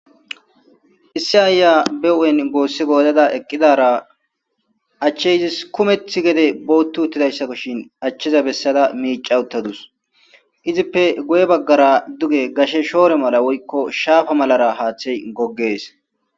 Issi ayiya be weynnin goosi goyada eqqidara achche izas kummeththa gedde booththi uttidayssabashin achcheza bessada michcha utadus.